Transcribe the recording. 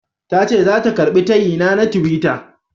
Tace zata karɓi tayina na tiwita.